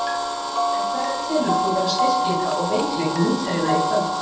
En hverja telur þú vera styrkleika og veikleika mótherjanna í kvöld?